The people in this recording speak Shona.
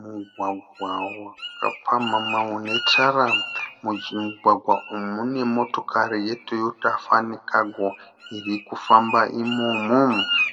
Mugwagwa wakapamhama unetara, mumugwagwa umu mune motokari yetoyota fun cargo irikufamba imomo,